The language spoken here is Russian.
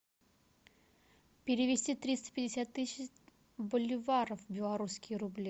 перевести триста пятьдесят тысяч боливаров в белорусские рубли